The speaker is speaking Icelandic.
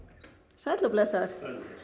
sæll og blessaður